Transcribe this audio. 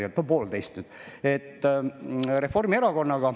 Me olime samas valitsuses Reformierakonnaga.